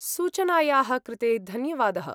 सूचनायाः कृते धन्यवादः।